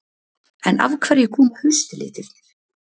En af hverju koma haustlitirnir?